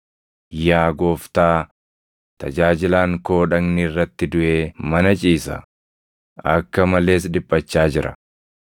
“Yaa Gooftaa, tajaajilaan koo dhagni irratti duʼee mana ciisa; akka malees dhiphachaa jira.”